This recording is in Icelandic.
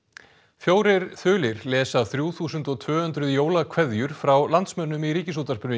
fjórir þulir lesa þrjú þúsund og tvö hundruð jólakveðjur frá landsmönnum í Ríkisútvarpinu í